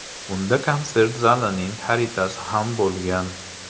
Unda konsert zalining xaritasi ham bo‘lgan.